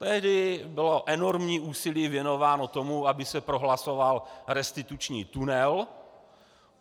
Tehdy bylo enormní úsilí věnováno tomu, aby se prohlasoval restituční tunel.